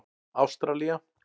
Ástralía